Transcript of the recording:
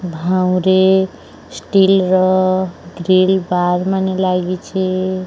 ଭାଉଁରେ ଷ୍ଟିଲର ଗ୍ରୀଲ ବାଗ୍ ମାନେ ଲାଗିଛି --